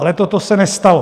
Ale toto se nestalo.